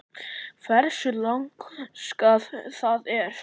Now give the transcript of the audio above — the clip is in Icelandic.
Hversu laskað það er?